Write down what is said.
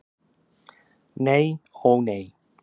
Nei, ó nei.